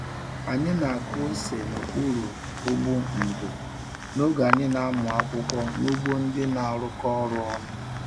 Anyị na-akụ ose n'okpuru ụgbụ ndò n'oge anyị na-amụ akwụkwọ n'ugbo ndị na-arụkọ ọrụ ọnụ.